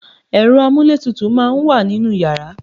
Ẹ̀rọ amúlétutù máa ń wà nínú yàrá